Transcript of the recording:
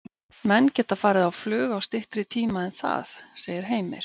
Menn geta farið á flug á styttri tíma en það, segir Heimir.